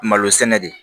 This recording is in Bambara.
Malo sɛnɛ de